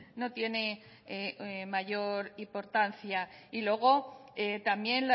no tiene mayor importancia y luego también